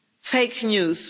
Fake news.